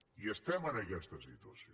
i estem en aquesta situació